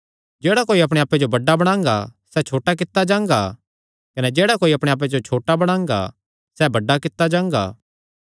जेह्ड़ा कोई अपणे आप्पे जो बड्डा बणांगा सैह़ छोटा कित्ता जांगा कने जेह्ड़ा कोई अपणे आप्पे जो छोटा बणांगा सैह़ बड्डा कित्ता जांगा